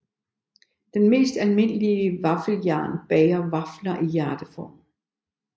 Det mest almindelige vaffeljern bager vafler i hjerteform